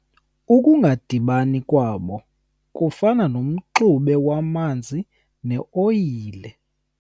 Ukungadibani kwabo kufana nomxube wamanzi neoyile.